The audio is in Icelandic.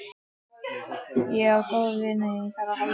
Ég á góða vini ef á þarf að halda.